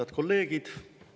Head kolleegid!